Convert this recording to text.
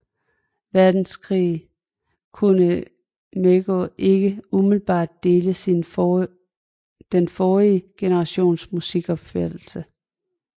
Verdenskrig kunne Maegaard ikke umiddelbart dele den forrige generations musikopfattelse